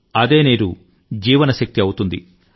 అదే నీరు జీవన శక్తి అవుతుంది